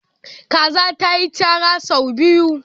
Kaza ta yi chara sau biyu.